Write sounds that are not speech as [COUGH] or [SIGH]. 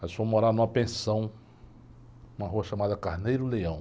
Nós fomos morar numa pensão, numa rua chamada. [UNINTELLIGIBLE]